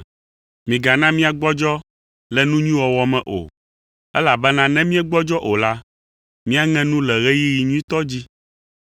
Migana míagbɔdzɔ le nu nyui wɔwɔ me o, elabena ne míegbɔdzɔ o la, míaŋe nu le ɣeyiɣi nyuitɔ dzi.